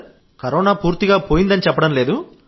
corona పోయిందని చెప్పడం లేదు